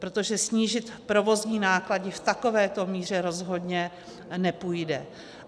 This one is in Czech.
Protože snížit provozní náklady v takovéto míře rozhodně nepůjde.